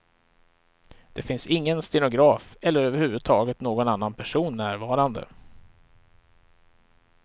Det finns ingen stenograf eller över huvud taget någon annan person närvarande.